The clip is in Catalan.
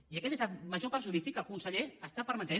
i aquest és el major perjudici que el conseller està permetent